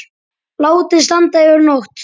Látið standa yfir nótt.